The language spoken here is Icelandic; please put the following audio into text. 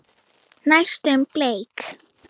Næstum bleik.